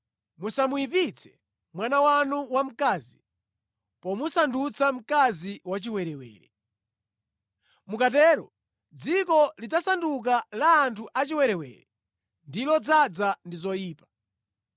“ ‘Musamuyipitse mwana wanu wamkazi pomusandutsa mkazi wachiwerewere. Mukatero dziko lidzasanduka la anthu achiwerewere ndi lodzaza ndi zoyipa.